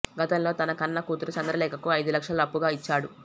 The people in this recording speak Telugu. గతంలో తన కన్న కూతురు చంద్రలేఖకు ఐదు లక్షలు అప్పుగా ఇచ్చాడు